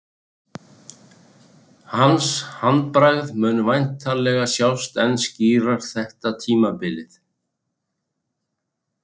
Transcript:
Hans handbragð mun væntanlega sjást enn skýrar þetta tímabilið.